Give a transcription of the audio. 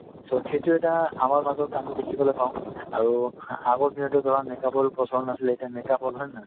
so, সেইটো এটা আমাৰ মাজত আমি দেখিবলৈ পাওঁ আৰু আগত দিনততো ধৰা make up ৰ প্ৰচলন নাছিলে এতিয়া হ'ল হয় নে নহয়